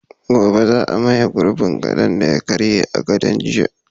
Gobe ​​za a maye gurbin gadon da ya karye a daren jiya